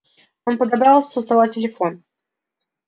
он подобрал со стола телефон